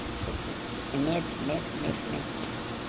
É médico, médico, médico, médico.